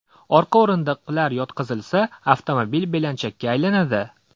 Orqa o‘rindiqlar yotqizilsa, avtomobil belanchakka aylanadi.